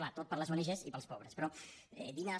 clar tot per les ong i pels pobres però dinars